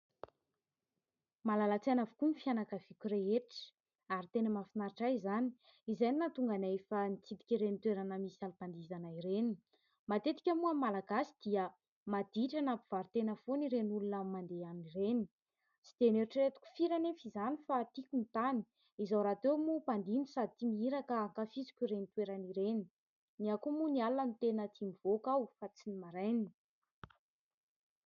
Malala-tsaina avokoa ny fianakaviako rehetra ary tena mahafinaritra ahy izany. Izay no nahatonga ana efa nitsidika ireny toerana misy alim-pandihizana ireny. Matetika moa amin'ny malagasy dia maditra na mpivarotena foana ireny olona mandeha an'ireny ; tsy dia noeritrieretiko firy anefa izany fa tiako ny tany izaho rahateo moa mpandihy no sady tia mihira ka hankafiziko ireny toeran'ireny. Ny ahy koa moa ny alina no tia mivoaka aho fa tsy ny maraina.